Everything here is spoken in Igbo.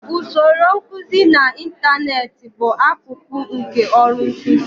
Usoro nkuzi n'ịntanetị bụ akụkụ nke ọrụ nkuzi.